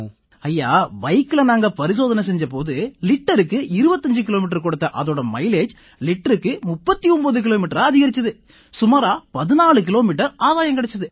ஐயா பைக்ல நாங்க பரிசோதனை செஞ்ச போது லிட்டருக்கு 25 கிலோமீட்டர் கொடுத்த அதோட மைலேஜ் லிட்டருக்கு 39 கிலோமீட்டரா அதிகரிச்சது சுமாரா 14 கிலோமீட்டர் ஆதாயம் கிடைச்சுது